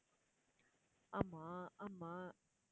ஆமா ஆமா